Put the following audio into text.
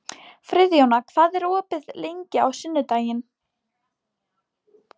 Friðjóna, hvað er opið lengi á sunnudaginn?